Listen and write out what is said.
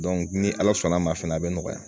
ni ala sɔnn'a ma fɛnɛ a bɛ nɔgɔya